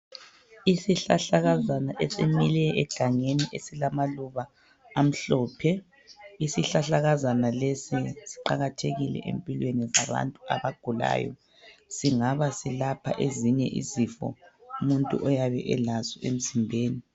Isihlahlakazana esimile egangeni esilamaluba amhlophe. Isihlahlakazana lesi siqakathekile empilweni zabantu abagulayo, singabe silapha ezinye izifo umuntu oyabe elazo emzimbeni.